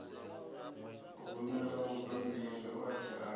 rumela mabammbiri oṱhe a ṱo